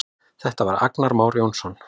Þetta var Agnar Már Jónsson.